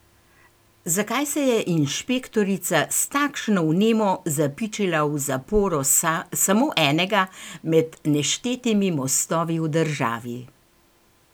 Zakaj se je inšpektorica s takšno vnemo zapičila v zaporo samo enega med neštetimi mostovi v državi?